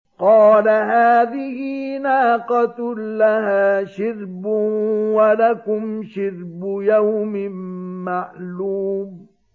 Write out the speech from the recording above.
قَالَ هَٰذِهِ نَاقَةٌ لَّهَا شِرْبٌ وَلَكُمْ شِرْبُ يَوْمٍ مَّعْلُومٍ